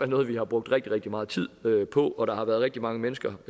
noget vi har brugt rigtig rigtig meget tid på og der har været rigtig mange mennesker